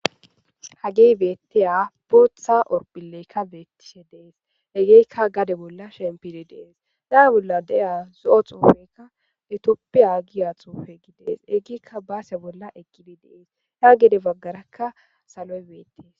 Hage betiya bota horophleka betishe de'es. Hegeka gade bola shanfishe de'es. A bola de'iya zoo tsahufeka, 'Itopphiya' giya tsuhufe de'es. Hegeka basiya bola aqde de'es, ya gade bagaraka saloy betes.